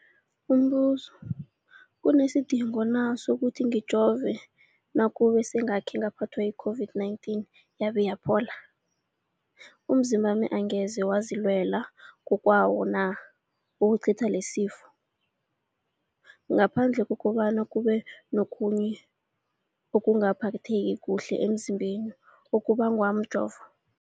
Umbuzo, kunesidingo na sokuthi ngijove nakube sengakhe ngaphathwa yi-COVID-19 yabe yaphola? Umzimbami angeze wazilwela ngokwawo na ukucitha lesisifo, ngaphandle kobana kube nokhunye ukungaphatheki kuhle emzimbeni okubangwa mjovo?